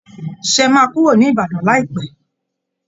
ṣé ẹ máa kúrò ní Ìbàdàn láìpẹ́